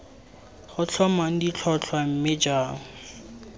tla tlhomang ditlhotlhwa mme jang